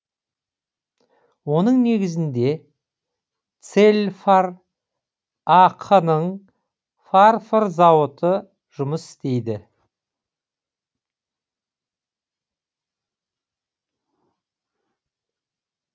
оның негізінде целфар ақ ның фарфор зауыты жұмыс істейді